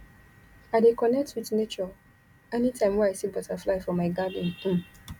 i dey connect wit nature anytime wey i see butterfly for my garden um